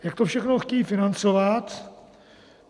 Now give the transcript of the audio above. Jak to všechno chtějí financovat?